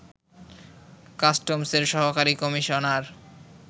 কাস্টমসের সহকারী কমিশনার